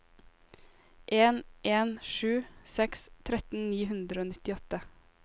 en en sju seks tretten ni hundre og nittiåtte